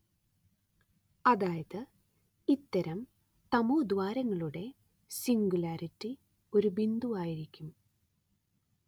അതായത് ഇത്തരം തമോദ്വാരങ്ങളുടെ സിംഗുലാരിറ്റി ഒരു ബിന്ദുവായിരിക്കും